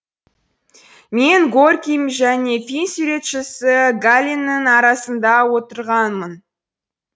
мен горький және фин суретшісі галленнің арасында отырғанмын